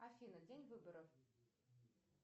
афина день выборов